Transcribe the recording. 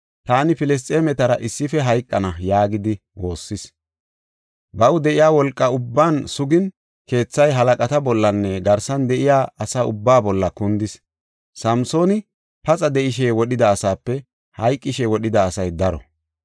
“Taani Filisxeemetara issife hayqana” yaagidi waassis. Baw de7iya wolqa ubban sugin, keethay halaqata bollanne garsan de7iya asa ubbaa bolla kundis. Samsooni paxa de7ishe wodhida asaape hayqishe wodhida asay daro.